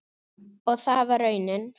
Og það var raunin.